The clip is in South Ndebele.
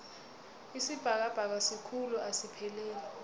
isibhakabhaka sikhulu asipheleli